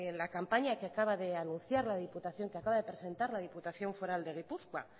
la campaña que acaba de presentar la diputación foral de gipuzkoa